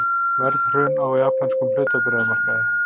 Verðhrun á japönskum hlutabréfamarkaði